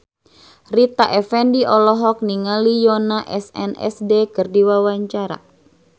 Rita Effendy olohok ningali Yoona SNSD keur diwawancara